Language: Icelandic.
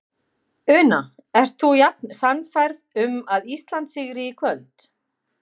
Una: Ert þú jafn sannfærð um að Ísland sigri í kvöld?